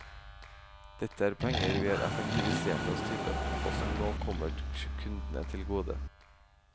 Dette er penger vi har effektivisert oss til, og som nå kommer kundene til gode.